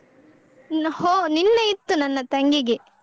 ಹೊ ನಿನ್ನೆ ಇತ್ತು ನನ್ನ ತಂಗಿಗೆ.